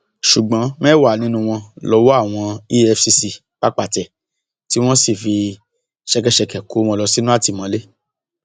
ṣùgbọn mẹwàá nínú wọn lowó àwọn efcc pápá tẹ tí wọn sì fi ṣẹkẹṣẹkẹ kó wọn lọ sínú àtìmọlé